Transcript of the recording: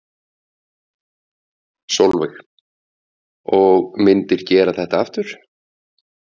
Sólveig: Og myndir gera þetta aftur?